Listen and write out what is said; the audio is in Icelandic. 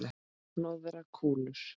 Hnoðar kúlur.